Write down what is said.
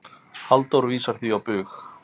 Halldór vísar því á bug.